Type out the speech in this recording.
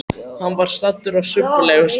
Hann var staddur á subbulegum stað.